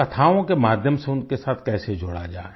कथाओं के माध्यम से उनके साथ कैसे जुड़ा जाए